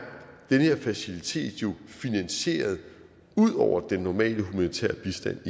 den her facilitet jo finansieret ud over den normale humanitære bistand